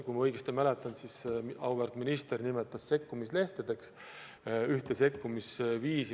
Kui ma õigesti mäletan, siis auväärt minister nimetas ühte sekkumisviisi sekkumislehtedeks.